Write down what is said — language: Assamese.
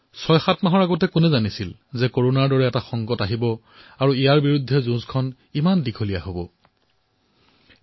৬৭ মাহ পূৰ্বে আমি নাজানিছিলো যে কৰোনাৰ দৰে সংকট আমাৰ জীৱনলৈ আহিব আৰু ইয়াৰ বিৰুদ্ধে দীঘলীয়া যুদ্ধত অৱতীৰ্ণ হব লাগিব